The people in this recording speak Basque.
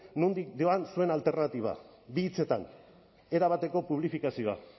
nondik joan zuen alternatiba bi hitzetan erabateko publifikazioa